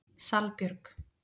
Salbjörg